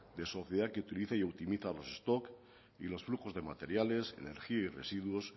de sociedad que utiliza y optimiza los stocks y los flujos de materiales energía y residuos